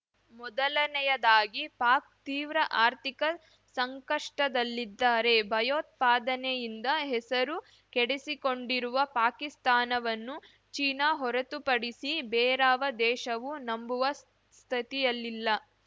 ಮೊದಲನೆಯದಾಗಿ ಪಾಕ್‌ ತೀವ್ರ ಆರ್ಥಿಕ ಸಂಕಷ್ಟದಲಿದ್ದಾರೆ ಭಯೋತ್ಪಾದನೆಯಿಂದ ಹೆಸರು ಕೆಡಿಸಿಕೊಂಡಿರುವ ಪಾಕಿಸ್ತಾನವನ್ನು ಚೀನಾ ಹೊರತುಪಡಿಸಿ ಬೇರಾವ ದೇಶವೂ ನಂಬುವ ಸ್ಥಿತಿಯಲ್ಲಿಲ್ಲ